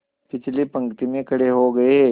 पिछली पंक्ति में खड़े हो गए